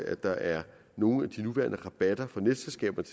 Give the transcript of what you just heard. at der er nogle af de nuværende rabatter for netselskaberne